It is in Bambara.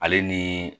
Ale ni